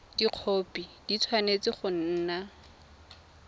dikhopi di tshwanetse go nna